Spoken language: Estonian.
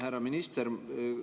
Härra minister!